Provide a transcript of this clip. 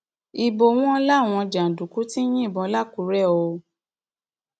ibo wọn làwọn jàǹdùkú ti ń yìnbọn làkúrè o